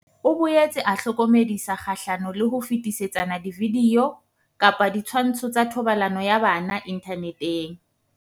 O boetse a hlokomedisa kgahlano le ho fetisetsana dividio kapa ditshwantsho tsa thobalano ya bana inthaneteng.